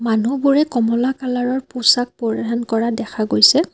মানুহবোৰে কমলা কালাৰ ৰ পোছাক পৰিধান কৰা দেখা গৈছে।